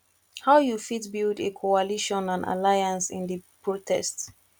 how you fit build a coalition and alliance in di protest